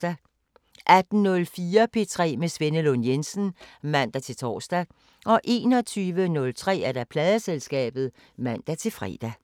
18:04: P3 med Svenne Lund Jensen (man-tor) 21:03: Pladeselskabet (man-fre)